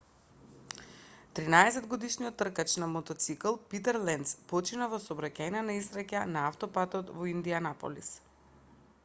13-годишниот тркач на мотоцикл питер ленц почина во сообраќајна несреќа на автопатот во индијанаполис